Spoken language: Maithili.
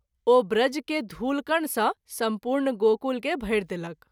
ओ ब्रज के धूलकण सँ सम्पूर्ण गोकुल के भरि देलक।